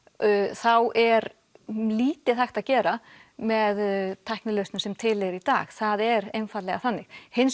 þá er lítið hægt að gera með tæknilausnum sem til eru í dag það er einfaldlega þannig hins